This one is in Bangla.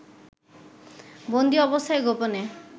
বন্দি অবস্থায় গোপনে